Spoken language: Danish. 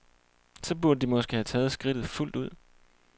Så burde de måske have taget skridtet fuldt ud?